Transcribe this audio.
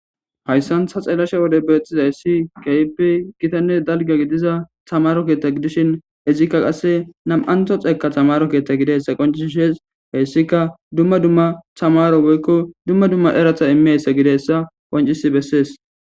hayssan ta xeelashe wode beetthizayssi kaype gitanne dalga gidiza tamaro keetta gidishin izikka qasse nam7anto xeeka tamaro keetta gideyssa qoncish shees heyssika dumma dumma tamaro woykko dumma dumma erata imeyssa gidessa wancisi bessees